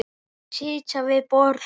Sitja við borð